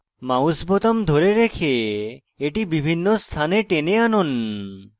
mouse বোতাম ধরে রেখে এটিকে বিভিন্ন স্থানে টেনে আনুন